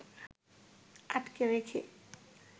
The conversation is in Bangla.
আটকে রেখে